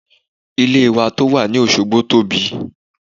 Ilé wa tó wà ní Òsogbo tóbi.